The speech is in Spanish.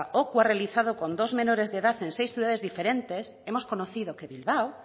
ocu ha realizado con dos menores de edad en seis ciudades diferentes hemos conocido que bilbao